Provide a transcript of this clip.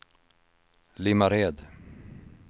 Limmared